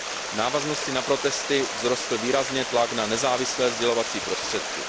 V návaznosti na protesty vzrostl výrazně tlak na nezávislé sdělovací prostředky.